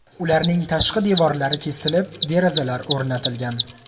Ularning tashqi devorlari kesilib, derazalar o‘rnatilgan.